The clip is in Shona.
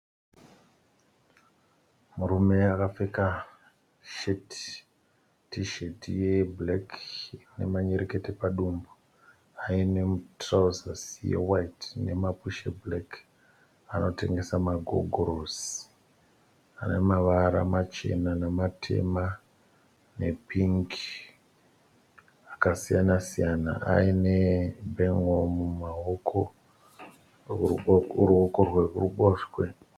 murume akapfeka sheti, tisheti yebhureki ine manyerekete padumbu aine mutirauzi yewaiti nemapushi ebhureki anotengesa magogorosi ane mavara machena nematema nepingi akasiyana. Ane bhunguru muruoko rwerubhoswe.